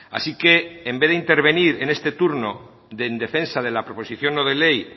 así que en vez de intervenir en este turno de en defensa de la proposición no de ley